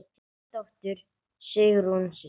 Þín dóttir, Sigrún Sif.